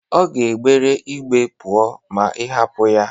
Ọ ga-egbere ígbé pụọ ma ị hapụ ya.